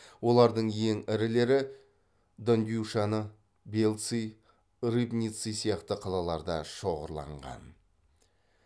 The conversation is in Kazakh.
олардың ең ірілері дондюшаны бельцы рыбницы сияқты қалаларда шоғырланған